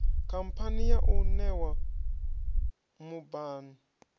khamphani yau i ṋewa mubhann